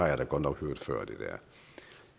jeg da godt nok hørt før